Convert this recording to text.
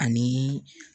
Ani